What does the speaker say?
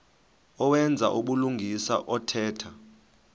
owenza ubulungisa othetha